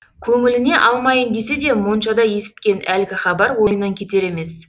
көңіліне алмайын десе де моншада есіткен әлгі хабар ойынан кетер емес